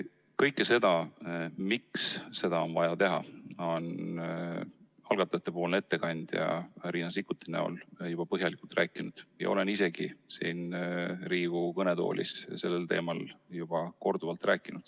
Kõike seda, miks seda on vaja teha, on algatajate esindaja Riina Sikkut juba põhjalikult rääkinud ja ma olen ka ise siin Riigikogu kõnetoolis sellel teemal korduvalt rääkinud.